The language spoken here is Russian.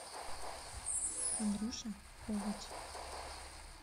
андрюша ковач